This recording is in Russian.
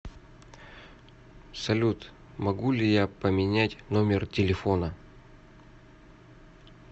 салют могу ли я поменять номер телефона